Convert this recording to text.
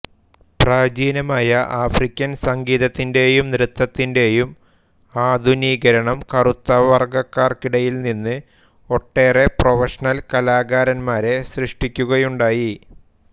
പ്രാചീനമായ ആഫ്രിക്കൻ സംഗീതത്തിന്റെയും നൃത്തത്തിന്റെയും ആധുനികരണം കറുത്തവർഗക്കാർക്കിടയിൽനിന്ന് ഒട്ടേറെ പ്രൊഫഷണൽ കലാകാരന്മാരെ സൃഷ്ടിക്കുകയുണ്ടായി